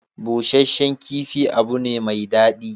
Busasshen kifi abu ne mai daɗi.